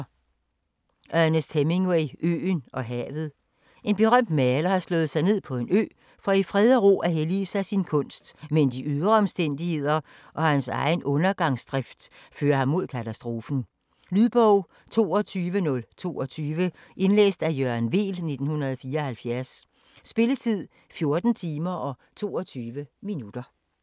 Hemingway, Ernest: Øen og havet En berømt maler har slået sig ned på en ø for i ro og fred at hellige sig sin kunst, men de ydre omstændigheder og hans egen undergangsdrift fører ham mod katastrofen. Lydbog 22022 Indlæst af Jørgen Weel, 1974. Spilletid: 14 timer, 22 minutter.